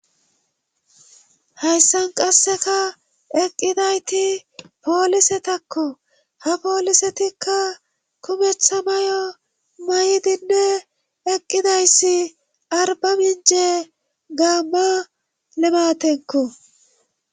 hayssan qasseka eqqidayti poolise takko ha poolisetikka kumetha may7o may7 dinne eqqidayssi arba minje gaamma limatenko